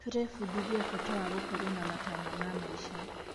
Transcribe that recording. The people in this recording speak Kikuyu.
Tũrebundithia bata wa gũkorwo na matanya ma maica.